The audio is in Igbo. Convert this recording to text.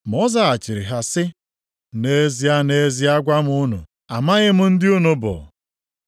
“Ma ọ zaghachiri ha sị, ‘Nʼezie, nʼezie, agwa m unu, amaghị m ndị unu bụ.’